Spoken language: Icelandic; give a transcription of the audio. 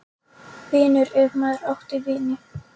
. vinur, ef maður átti vini.